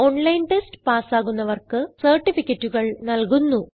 online test പാസ്സാകുന്നവർക്ക് സർട്ടിഫികറ്റുകൾ നല്കുന്നു